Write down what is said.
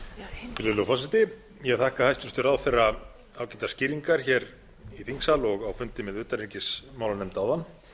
virðulegi forseti ég þakka hæstvirtum ráðherra ágætar skýringar hér í þingsal og á fundi með utanríkismálanefnd áðan